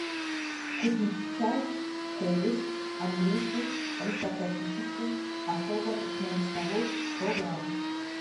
купить чай хейлис английский аристократический особо крупнолистовой сто грамм